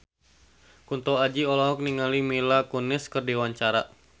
Kunto Aji olohok ningali Mila Kunis keur diwawancara